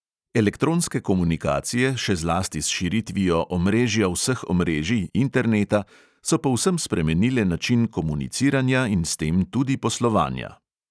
Elektronske komunikacije, še zlasti s širitvijo omrežja vseh omrežij – interneta so povsem spremenile način komuniciranja in s tem tudi poslovanja.